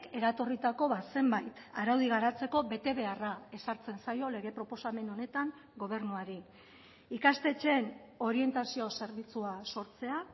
eratorritako zenbait araudi garatzeko betebeharra ezartzen zaio lege proposamen honetan gobernuari ikastetxeen orientazio zerbitzua sortzea